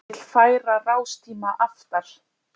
Vill færa rástíma aftar